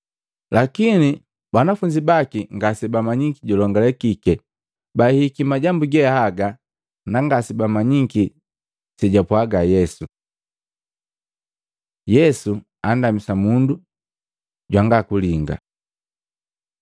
Lakini banafunzi baki ngase bamanyiki julongalekike. Baahihiki majambu ge haga, na ngasebamanyiki sejwapwaga Yesu. Yesu andamisa mundu jwanga kulinga Matei 20:29-34; Maluko 10:46-52